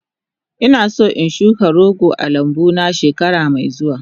Ina son in shuka goro a lambu na shekara mai zuwa.